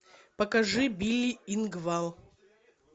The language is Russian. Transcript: покажи билли ингвал